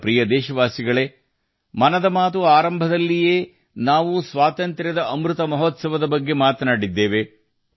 ನನ್ನ ಪ್ರೀತಿಯ ದೇಶವಾಸಿಗಳೇ ಮನ್ ಕಿ ಬಾತ್ ಆರಂಭದಲ್ಲಿ ನಾವು ಆಜಾದಿ ಕಾ ಅಮೃತ್ ಮಹೋತ್ಸವವನ್ನು ಉಲ್ಲೇಖಿಸಿದ್ದೇವೆ